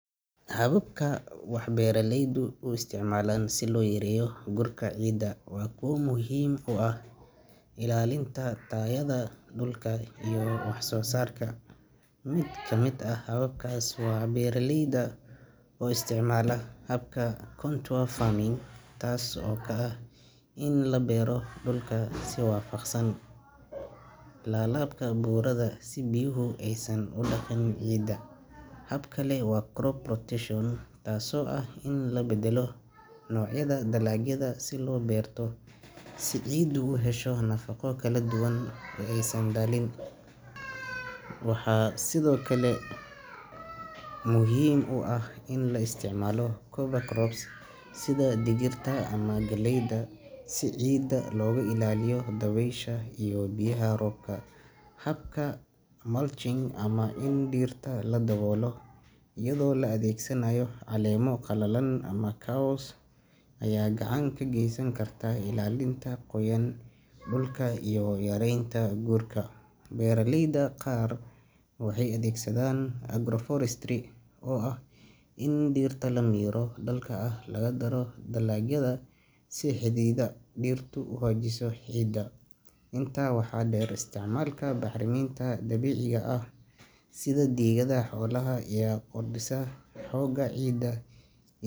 Hababka wax beeralaydu u isticmaalaan si loo yareeyo gurka ciidda waa kuwo muhiim u ah ilaalinta tayada dhulka iyo waxsoosaarka. Mid ka mid ah hababkaas waa beeraleyda oo isticmaala habka contour farming, taas oo ah in la beero dhulka si waafaqsan laalaabka buuraha si biyuhu aysan u dhaqin ciidda. Hab kale waa crop rotation, taasoo ah in la bedbeddelo noocyada dalagyada la beerto, si ciiddu u hesho nafaqo kala duwan oo aysan daalin. Waxaa sidoo kale muhiim ah in la isticmaalo cover crops sida digirta ama galleyda, si ciidda looga ilaaliyo dabaysha iyo biyaha roobka. Habka mulching ama in dhirta la daboolo iyadoo la adeegsanayo caleemo qalalan ama caws, ayaa gacan ka geysan karta ilaalinta qoyaan dhulka iyo yaraynta gurka. Beeraleyda qaar waxay adeegsadaan agroforestry, oo ah in dhirta miro dhalka ah lagu daro dalagyada si xididdada dhirtu u xajiso ciidda. Intaa waxaa dheer, isticmaalka bacriminta dabiiciga ah sida digada xoolaha ayaa kordhisa xoogga ciidda.